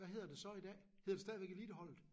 Hvad hedder det så i dag? Hedder det stadigvæk eliteholdet?